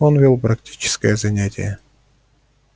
он вёл практическое занятие